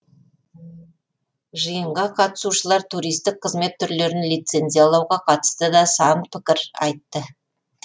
жиынға қатысушылар туристік қызмет түрлерін лицензиялауға қатысты да сан пікір айтты